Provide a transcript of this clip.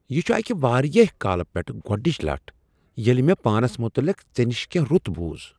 یہ چھ اکہ واریاہ کالہ پیٹھٕ گۄڈنچہ لٹہ ییٚلہ مےٚ پانس متعلق ژےٚ نشہ کیٚنہہ رُت بُوز۔